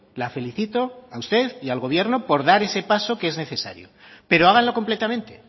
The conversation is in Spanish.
la felicito a usted y al gobierno por dar ese paso pero háganlo completamente